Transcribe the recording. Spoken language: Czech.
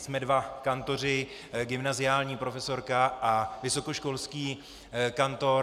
Jsme dva kantoři, gymnaziální profesorka a vysokoškolský kantor.